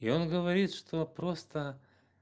и он говорит что просто